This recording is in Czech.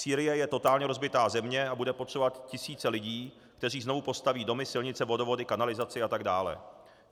Sýrie je totálně rozbitá země a bude potřebovat tisíce lidí, kteří znovu postaví domy, silnice, vodovody, kanalizaci a tak dále.